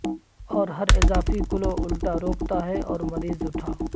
اور ہر اضافی کلو الٹا روکتا ہے اور مریض اٹھا